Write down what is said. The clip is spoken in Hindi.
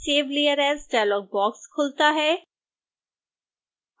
save layer as dialogue box खुलता है